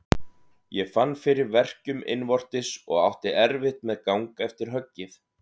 Ég fann fyrir verkjum innvortis og átti erfitt með gang eftir höggið.